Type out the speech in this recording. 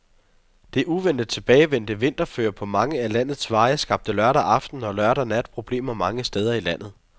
Det uventet tilbagevendte vinterføre på mange af landets veje skabte lørdag aften og lørdag nat problemer mange steder i landet.